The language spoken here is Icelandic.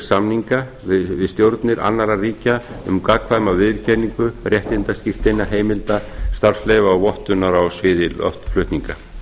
samninga við stjórnir annarra ríkja um gagnkvæma viðurkenningu réttindaskírteina heimilda starfsleyfa og vottunar á sviði loftflutninga